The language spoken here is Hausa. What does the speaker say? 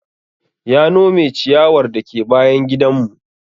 Ya nome ciyawar dake bayan gidan mu